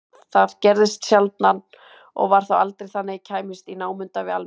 Það gerðist sjaldan og var þá aldrei þannig að ég kæmist í námunda við almenning.